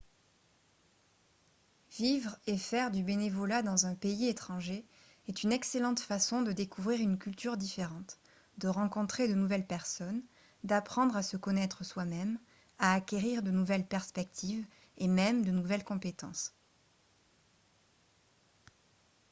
vivre et faire du bénévolat dans un pays étranger est une excellente façon de découvrir une culture différente de rencontrer de nouvelles personnes d'apprendre à se connaître soi-même à acquérir de nouvelles perspectives et même de nouvelles compétences